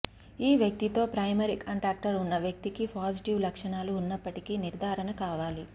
ఈ వ్యక్తితో primary contractor ఉన్న వ్యక్తికి పాజిటివ్ లక్షణాలు ఉన్నప్పటికీ నిర్థారణ కావాలి